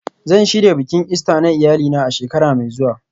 Zan shirya bikin Ista na iyalina a shekara mai zuwa